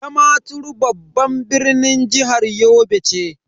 Damaturu babban birnin jihar Yobe ce.